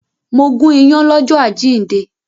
Mo gún ìyàn lọ́jọ́ àjíǹde